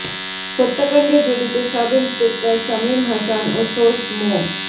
হত্যাকণ্ডে জড়িত sub inspector Shamim Hasan ও source মো